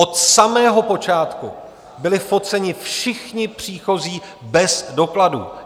Od samého počátku byli foceni všichni příchozí bez dokladů.